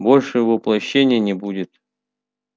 больше воплощений не будет